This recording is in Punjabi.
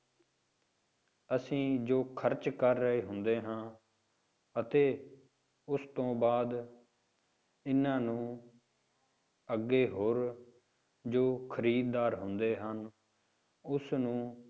ਅਸੀਂ ਜੋ ਖ਼ਰਚ ਕਰ ਰਹੇ ਹੁੰਦੇ ਹਾਂ ਅਤੇ ਉਸ ਤੋਂ ਬਾਅਦ ਇਹਨਾਂ ਨੂੰ ਅੱਗੇ ਹੋਰ ਜੋ ਖ਼ਰੀਦਦਾਰ ਹੁੰਦੇ ਹਨ, ਉਸਨੂੰ